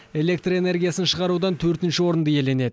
электр энергиясын шығарудан інші орынды иеленеді